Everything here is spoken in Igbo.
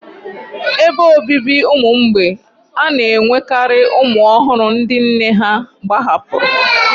Ebe obibi ụmụ mgbei a na-enwekarị ụmụ ọhụrụ ndị nne ha gbahapụrụ